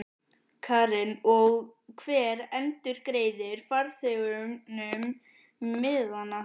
Karen: Og hver endurgreiðir farþegunum miðana?